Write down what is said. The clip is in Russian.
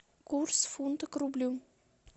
курс фунта к рублю